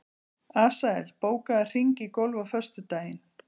Asael, bókaðu hring í golf á föstudaginn.